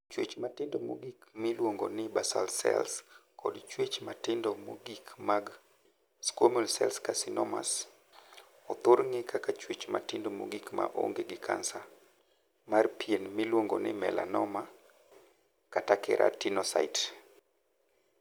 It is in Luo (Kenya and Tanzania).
Chuech matindo mogik miluongo ni 'basal cells' kod chuech matindo mogik mag 'squamous cell carcinomas' othor ng'ee kaka chuech matindo mogik ma onge gi kansa mar pien miluongo ni 'melanoma' kata 'keratinocyte'.